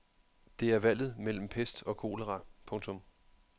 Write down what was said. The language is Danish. Det er valget mellem pest og kolera. punktum